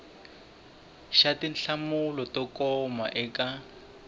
xa tinhlamulo to koma eka